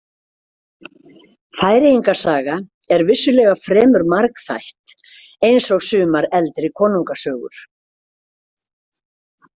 Færeyinga saga er vissulega fremur margþætt, eins og sumar eldri konungasögur.